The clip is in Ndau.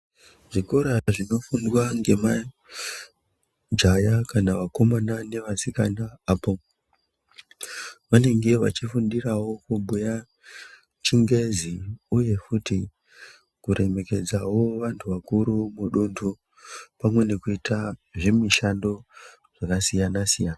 Zvikora zvino fundwa nge majaya kana vakomana ne vasikana apo vanenge vachi fundirawo kubhuya chingezi uye futi ku remekedzawo vantu vakuru mu dundu pamwe nekuita zvi mishando zvaka siyana siyana.